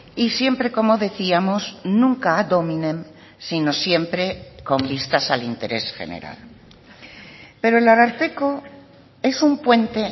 y siempre como decíamos nunca ad hominem sino siempre con vistas al interés general pero el ararteko es un puente